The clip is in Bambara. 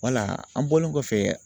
Wala an bɔlen kɔfɛ